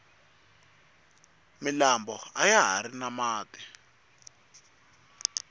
milambo ayahari na mati